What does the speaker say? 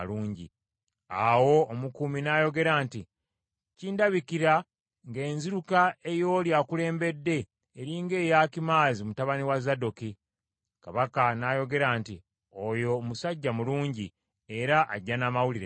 Awo omukuumi n’ayogera nti, “Kindabikira nga enziruka ey’oli akulembedde eri ng’eya Akimaazi mutabani wa Zadooki.” Kabaka n’ayogera nti, “Oyo musajja mulungi era ajja n’amawulire malungi.”